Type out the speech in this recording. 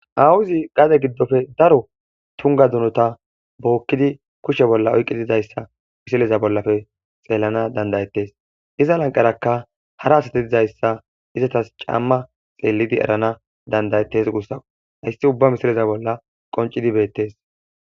awuzi gaade giddofe daro tunga dunota bookkidi kushshe bolla oyqqi dizayssa misileza bollafe xeelana dandayetes iza lanqarakka hara asate izayssa izatas camma xeelidi erana dandayettes guussa hayssi ubba misileza bolla qoncidi beettes